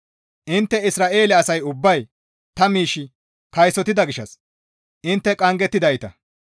Intte Isra7eele asay ubbay ta miish kaysotida gishshas intte qanggettidayta.